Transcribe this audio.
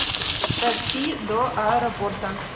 такси до аэропорта